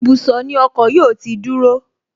Ibùsọ̀ ni ọkọ̀ yóò ti dúró